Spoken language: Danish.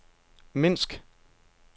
Minsk